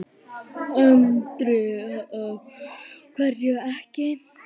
Andri: Af hverju ekki?